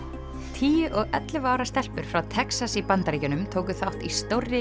tíu og ellefu ára stelpur frá Texas í Bandaríkjunum tóku þátt í stórri